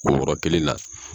Kulukɔrɔ kelen na.